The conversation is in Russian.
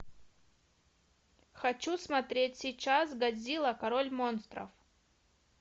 хочу смотреть сейчас годзилла король монстров